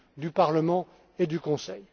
du Parlement et du Conseil.